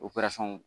operasɔn